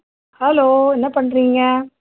hello என்ன பண்றீங்க